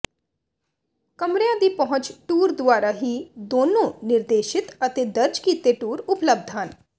ਕਮਰਿਆਂ ਦੀ ਪਹੁੰਚ ਟੂਰ ਦੁਆਰਾ ਹੀ ਹੈ ਦੋਨੋ ਨਿਰਦੇਸ਼ਿਤ ਅਤੇ ਦਰਜ ਕੀਤੇ ਟੂਰ ਉਪਲਬਧ ਹਨ